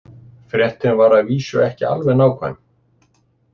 Fréttin var að vísu ekki alveg nákvæm.